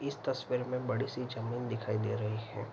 इस तस्वीर में बड़ी-सी जमीन दिखाई दे रही हैं।